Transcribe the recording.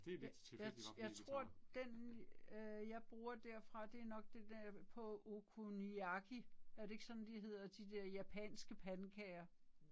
Jeg jeg jeg tror den øh jeg bruger derfra det er nok det den på okonomiyaki. Er det ikke sådan de hedder de der japanske pandekager?